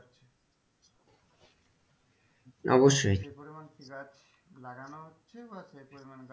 অবশ্যই সে পরিমানে কি গাছ লাগানো হচ্ছে বা যে পরিমানে গাছ,